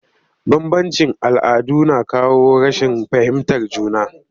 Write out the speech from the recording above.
Bambanci all'adu na kawo rashin fahimtar juna